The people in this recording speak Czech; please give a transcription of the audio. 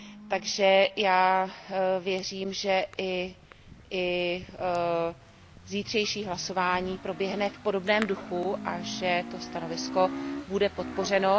Takže já věřím, že i zítřejší hlasování proběhne v podobném duchu a že to stanovisko bude podpořeno.